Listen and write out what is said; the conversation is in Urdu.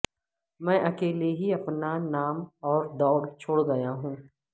میں اکیلے ہی اپنا نام اور دوڑ چھوڑ گیا ہوں